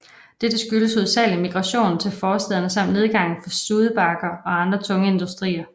Dette skyldtes hovedsagelig migration til forstæderne samt nedgangen for Studebaker og andre tunge industrier